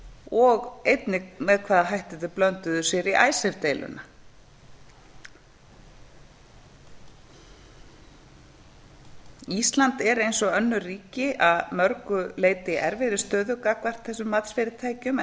og einnig með hvaða hætti þau blönduðu sér í icesave deiluna ísland er eins og önnur ríki að mörgu leyti í erfiðri stöðu gagnvart þessum matsfyrirtækjum